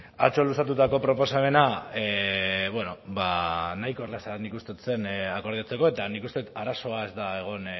atzo luzatutako proposamena bueno nahiko erraza nik uste dut akordatzeko eta nik uste dut arazoa ez dela egon